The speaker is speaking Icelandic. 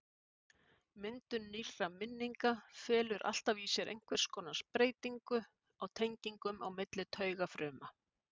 Myndun nýrra minninga felur alltaf í sér einhvers konar breytingu á tengingum á milli taugafruma.